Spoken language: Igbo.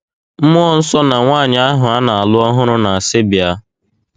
Mmụọ nsọ na nwaanyị ahụ a na - alụ ọhụrụ na - asị: Bịa!.